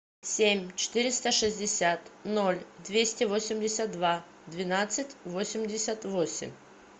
семь четыреста шестьдесят ноль двести восемьдесят два двенадцать восемьдесят восемь